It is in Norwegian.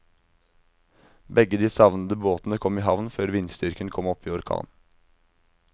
Begge de savnede båtene kom i havn før vindstyrken kom opp i orkan.